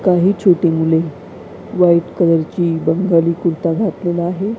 काही छोटी मुले व्हाईट कलरची बंगाली कुर्ता घातलेला आहे.